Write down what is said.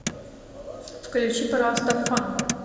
включи пожалуйста фан